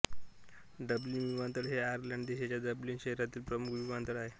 Dublin विमानतळ हा Ireland देशाच्या डब्लिन शहरामधील प्रमुख विमानतळ आहे